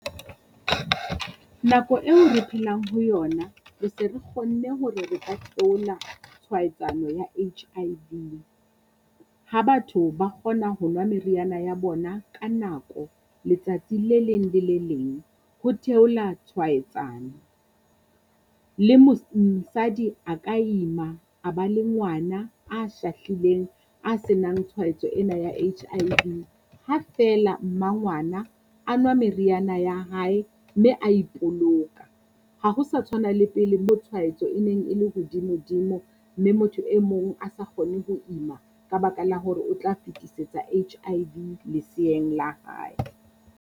Nako eo re phelang ho yona, re se re kgonne hore re ka theola tshwaetsano ya H_I_V. Ha batho ba kgona ho nwa meriana ya bona ka nako letsatsi le leng le le leng, ho theola tshwaetsano le a ka ima a ba le ngwana a shahlileng a senang tshwaetso ena ya H_I_V. Ha feela mmangwana a nwa meriana ya hae mme a ipoloka, ha ho sa tshwana le pele mo tshwaetso e neng e le hodimo-dimo mme motho e mong a sa kgone ho ima ka baka la hore o tla fetisetsa H_I_V leseeng la hae.